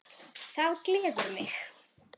Það gleður mig.